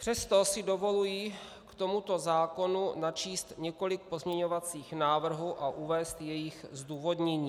Přesto si dovoluji k tomuto zákonu načíst několik pozměňovacích návrhů a uvést jejich zdůvodnění.